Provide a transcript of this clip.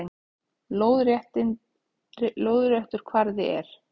Lóðréttur kvarði er